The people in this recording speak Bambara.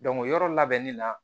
o yɔrɔ labɛnni na